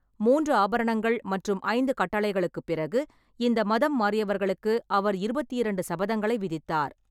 மூன்று ஆபரணங்கள் மற்றும் ஐந்து கட்டளைகளுக்குப் பிறகு, இந்த மதம் மாறியவர்களுக்கு அவர் இருபத்தி இரண்டு சபதங்களை விதித்தார்.